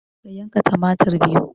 Ka yanka tumatir biyu